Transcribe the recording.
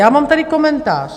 Já mám tady komentář.